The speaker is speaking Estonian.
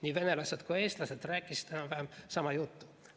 Nii venelased kui eestlased rääkisid enam-vähem sama juttu.